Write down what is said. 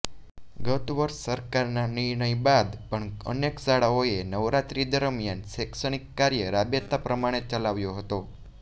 ગતવર્ષે સરકારનાં નિર્ણય બાદ પણ અનેક શાળાઓએ નવરાત્રી દરમિયાન શૈક્ષણિક કાર્ય રાબેતા પ્રમાણે ચલાવ્યો હતો